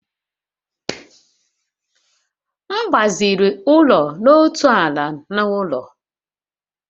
M gbaziri ụlọ n'otu ala na ụlọ